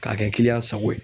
K'a kɛ kiliyan sago ye